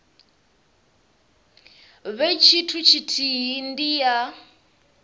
vhe tshithu tshithihi ndi ya